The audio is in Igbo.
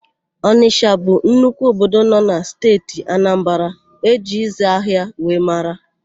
Ọnịsha bụ nnukwu obodo nọ na Steeti Anambara e ji ịzị ahịa wee mara.